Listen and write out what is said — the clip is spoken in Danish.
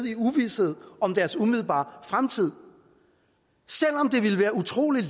i uvished om deres umiddelbare fremtid selv om det ville være utrolig